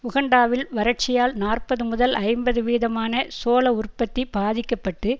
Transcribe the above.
உகண்டாவில் வரட்சியால் நாற்பது முதல் ஐம்பது வீதமான சோள உற்பத்தி பாதிக்க பட்டு